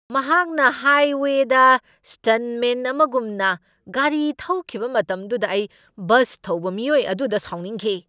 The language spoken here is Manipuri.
ꯃꯍꯥꯛꯅ ꯍꯥꯏꯋꯦꯗ ꯁ꯭ꯇꯟꯠꯃꯦꯟ ꯑꯃꯒꯨꯝꯅ ꯒꯥꯔꯤ ꯊꯧꯈꯤꯕ ꯃꯇꯝꯗꯨꯗ ꯑꯩ ꯕꯁ ꯊꯧꯕ ꯃꯤꯑꯣꯏ ꯑꯗꯨꯗ ꯁꯥꯎꯅꯤꯡꯈꯤ꯫